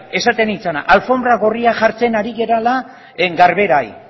esaten ari nintzena alfonbra gorria jartzen ari garela garberari